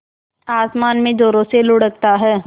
आसमान में ज़ोरों से लुढ़कता है